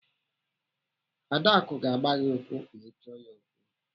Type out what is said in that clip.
Adaku ga-agba gị ụkwụ ma ị chọọ ya okwu.